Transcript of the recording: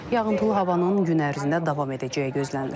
Yağıntılı havanın gün ərzində davam edəcəyi gözlənilir.